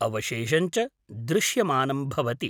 अवशेषं च दृश्यमानं भवति।